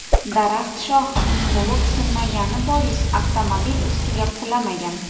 Daraxt shoxi to‘liq sinmagani bois avtomobil ustiga qulamagan.